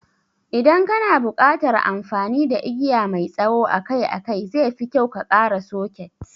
Idan kana buƙatar amfani da igiya mai tsawo akai-akai, zefi kyau ka ƙara soket.